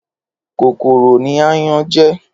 Kókóró ni àyán jè